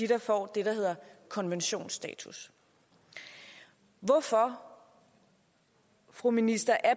der får det der hedder konventionsstatus hvorfor fru minister er